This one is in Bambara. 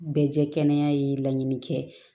Bɛɛ jɛ kɛnɛ ye laɲini kɛ